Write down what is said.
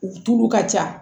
U tulu ka ca